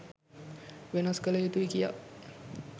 වෙනස් කළ යුතුයි කියා